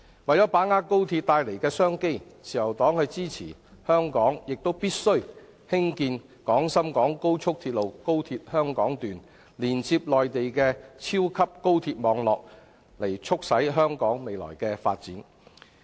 為把握高速鐵路帶來的商機，自由黨支持香港興建廣深港高速鐵路香港段，連接內地的超級高速鐵路網絡，以促進香港未來的發展。